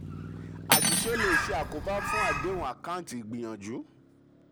àṣìṣe le ṣe àkóbá fún àdéhùn àkáǹtì ìgbìyànjù.